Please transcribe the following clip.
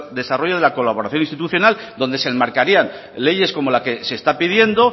desarrollo de la colaboración institucional donde se enmarcarían leyes como la que se está pidiendo